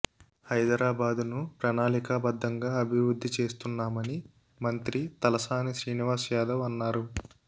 హైదరాబాదును ప్రణాళికాబద్ధంగా అభివృద్ధి చేస్తున్నామని మంత్రి తలసాని శ్రీనివాస్ యాదవ్ అన్నారు